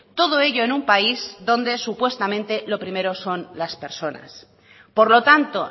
todo ello en un país donde supuestamente lo primero son las personas por lo tanto